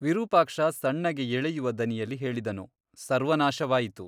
ವಿರೂಪಾಕ್ಷ ಸಣ್ಣಗೆ ಎಳೆಯುವ ದನಿಯಲ್ಲಿ ಹೇಳಿದನು ಸರ್ವನಾಶವಾಯಿತು.